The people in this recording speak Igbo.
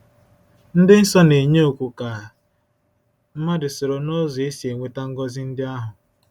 Ndị nsọ na-enye oku ka mmadụ soro n’ụzọ e si enweta ngọzi ndị ahụ.